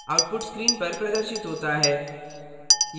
output screen पर प्रदर्शित होता है